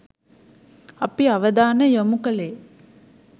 අපි අවධානය යොමු කළේ